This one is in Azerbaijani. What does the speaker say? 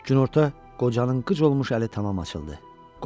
Günorta qocanın qıc olmuş əli tamam açıldı.